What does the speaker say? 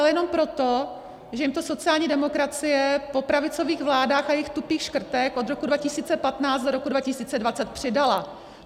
Ale jenom proto, že jim to sociální demokracie po pravicových vládách a jejich tupých škrtech od roku 2015 do roku 2020 přidala.